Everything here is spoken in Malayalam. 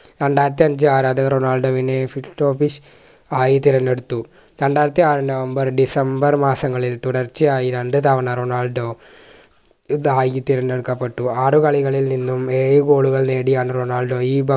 രണ്ടായിരത്തി അഞ്ച് ആരാധകർ റൊണാൾഡോവിനെ ആയി തിരഞ്ഞെടുത്തു രണ്ടായിരത്തി ആറ് നവംബർ ഡിസംബർ മാസങ്ങളിൽ തുടർച്ചയായി രണ്ടു തവണ റൊണാൾഡോ ഇതായി തിരഞ്ഞെടുക്കപ്പെട്ടു ആറു കളികളിൽ നിന്നും ഏഴ് ഗോളുകൾ നേടിയാണ് റൊണാൾഡോ ഈ